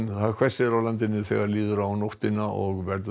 hvessir á landinu þegar líður á nóttina og verður